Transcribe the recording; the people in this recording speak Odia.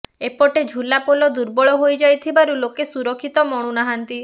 ଏପଟେ ଝୁଲା ପୋଲ ଦୁର୍ବଳ ହୋଇ ଯାଇଥିବାରୁ ଲୋକେ ସୁରକ୍ଷିତ ମଣୁ ନାହାନ୍ତି